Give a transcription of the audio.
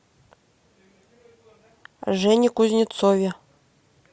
жене кузнецове